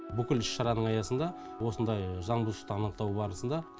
бүкіл іс шараның аясында осындай заңбұзушылықты анықтау барысында